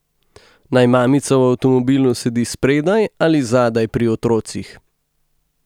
Naj mamica v avtomobilu sedi spredaj ali zadaj pri otrocih?